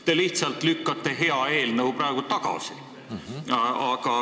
Te lihtsalt lükkate hea eelnõu praegu tagasi.